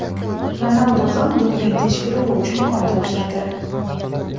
Ronaldu ham doping tekshiruvi uchun qon topshirdi.